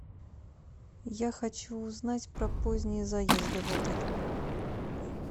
я хочу узнать про поздние заезды в отель